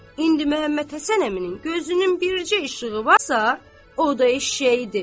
indi Məmmədhəsən əminin gözünün bircə işığı varsa, o da eşşəyidir.